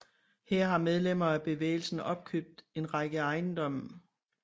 Her har medlemmer af bevægelsen opkøbt en række ejendomme